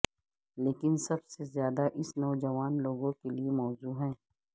لیکن سب سے زیادہ اس نوجوان لوگوں کے لئے موزوں ہے